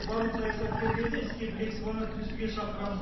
барлық саясаткерлерді іске білек сыбана кірісуге шақырамын